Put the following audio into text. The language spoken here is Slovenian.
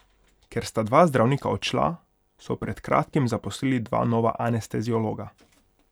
Ker sta dva zdravnika odšla, so pred kratkim zaposlili dva nova anesteziologa.